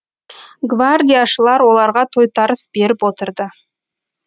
гвардияшылар оларға тойтарыс беріп отырды